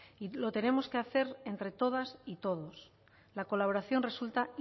lo tenemos que hacer entre todas y todos la colaboración resulta